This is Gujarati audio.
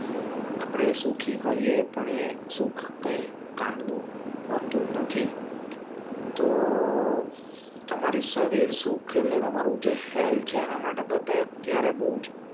આપડે સુખી હોયે પણ એ સુખ કઈ કામનું હોતું નથી તો તમારી શરીર સુખ એટલે તમારું જે હેલ્થ જેને માટે બધા અત્યારે બવ જ